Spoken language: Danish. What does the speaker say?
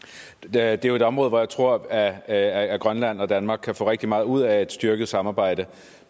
er jo et område hvor jeg tror at grønland og danmark kan få rigtig meget ud af et styrket samarbejde